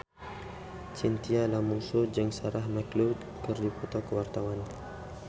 Chintya Lamusu jeung Sarah McLeod keur dipoto ku wartawan